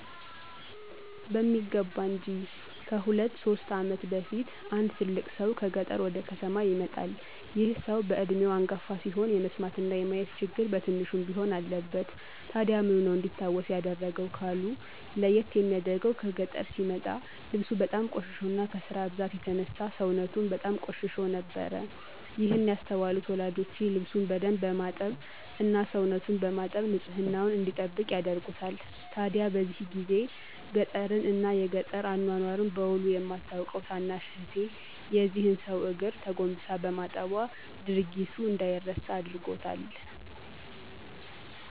በሚገባ እንጅ። ከሁለት ሶስት ዓመት በፊት አንድ ትልቅ ሰው ከገጠር ወደ ከተማ ይመጣል። ይህ ሰው በዕድሜው አንጋፋ ሲሆን የመስማትና የማየት ችግር በትንሹም ቢሆን አለበት። ታዲያ ምኑ ነው እንዲታወስ ያደረገው? ካሉ፤ ለይት የሚያደርገው ከገጠር ሲመጣ ልብሱ በጣም ቆሽሾና ከስራ ብዛት የተነሳ ሰውነቱም በጣም ቆሽሾ ነበር። ይህን ያስተዋሉት ወላጆቼ ልብሱን በደንብ በማጠብ እና ሰውነቱን በማጠብ ንፅህናውን እንዲጠብቅ ያደርጉታል። ታዲያ በዚህ ጊዜ ገጠርን እና የገጠር አኗኗር በዉል የማታቀው ታናሽ እህቴ የዚህን ሰው እግር ተጎንብሳ በማጠቧ ድርጊቱ እንደይረሳ አድርጎታል።